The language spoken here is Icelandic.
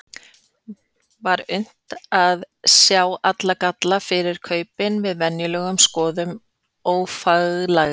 Var unnt að sjá galla þessa fyrir kaupin við venjulega skoðun ófaglærðra?